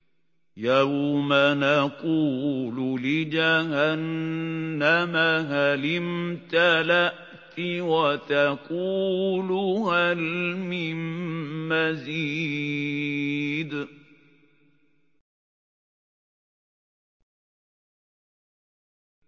يَوْمَ نَقُولُ لِجَهَنَّمَ هَلِ امْتَلَأْتِ وَتَقُولُ هَلْ مِن مَّزِيدٍ